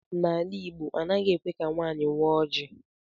N'ala Igbo, anaghị ekwe ka nwaanyị waa oji.